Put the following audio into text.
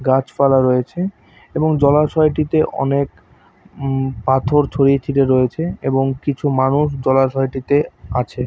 গাছপালা রয়েছে এবং জলাশয় টিতে অনেক উম পাথর ছড়িয়ে ছিটিয়ে রয়েছে এবং কিছু মানুষ জলাশয় টিতে আছে।